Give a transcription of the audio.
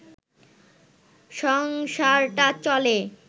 সংসারটা চলে